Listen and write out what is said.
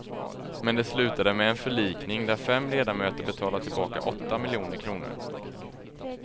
Men det slutade med en förlikning där fem ledamöter betalar tillbaka åtta miljoner kronor.